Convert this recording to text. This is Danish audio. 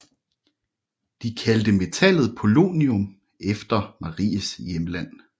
De kaldte metallet polonium efter Maries hjemland